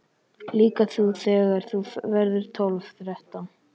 Líka þú þegar þú verður tólf, þrettán.